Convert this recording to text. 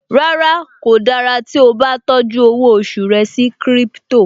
Rárá, kò dára tó tí ó bá tọ́jú owó oṣù rẹ sí crypto